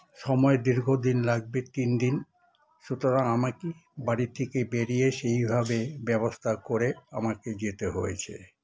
সময় দীর্ঘ দিন লাগবে তিনদিন সুতরাং আমাকে বাড়ি থেকে বেরিয়ে সেই ভাবে ব্যবস্থা করে আমাকে যেতে হয়েছে